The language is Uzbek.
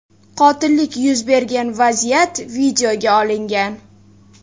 Qotillik yuz bergan vaziyat videoga olingan.